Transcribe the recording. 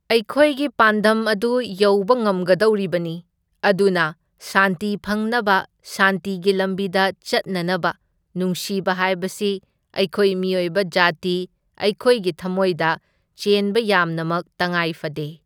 ꯑꯩꯈꯣꯏꯒꯤ ꯄꯥꯟꯗꯝ ꯑꯗꯨ ꯌꯧꯕ ꯉꯝꯒꯗꯧꯔꯤꯕꯅꯤ, ꯑꯗꯨꯅ ꯁꯥꯟꯇꯤ ꯐꯪꯅꯕ ꯁꯥꯟꯇꯤꯒꯤ ꯂꯝꯕꯤꯗ ꯆꯠꯅꯅꯕ ꯅꯨꯡꯁꯤꯕ ꯍꯥꯏꯕꯁꯤ ꯑꯩꯈꯣꯏ ꯃꯤꯑꯣꯏꯕ ꯖꯥꯇꯤ ꯑꯩꯈꯣꯏꯒꯤ ꯊꯝꯃꯣꯏꯗ ꯆꯦꯟꯕ ꯌꯥꯝꯅꯃꯛ ꯇꯪꯉꯥꯏ ꯐꯗꯦ꯫